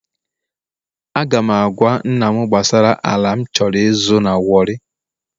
Aga m agwa nna m gbasara ala m chọrọ ịzụ na warri